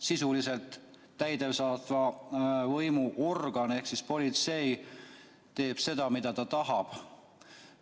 Sisuliselt täidesaatva võimu organ ehk politsei teeb seda, mida ta tahab.